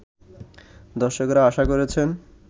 দর্শকরা আশা করছেন